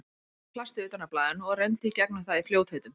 Hún reif plastið utan af blaðinu og renndi í gegnum það í fljótheitum.